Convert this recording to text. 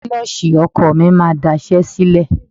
Kílọ̀ṣì ọkọ̀ mi máa daṣẹ́ sílẹ̀.